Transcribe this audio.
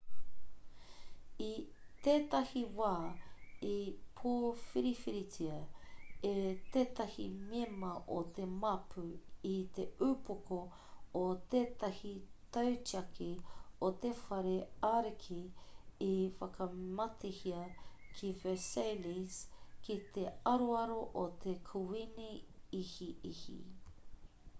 i tētahi wā i pōwhiriwhiritia e tētahi mema o te māpu i te upoko o tētahi tautiaki o te whare ariki i whakamatehia ki versailles ki te aroaro o te kuīni ihiihi